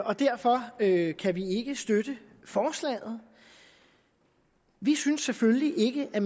og derfor kan kan vi ikke støtte forslaget vi synes selvfølgelig ikke at